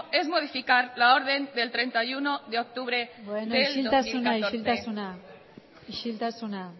es modificar la orden del treinta y uno de octubre del dos mil catorce beno isiltasuna isiltasuna